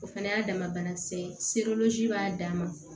O fana y'a dama banakisɛ ye b'a dan ma